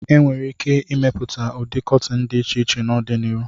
E nwere ike ịmepụta ụdị kọtịn dị iche iche n'ọdịnihu.